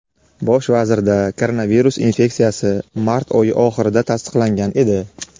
Bosh vazirda koronavirus infeksiyasi mart oyi oxirida tasdiqlangan edi.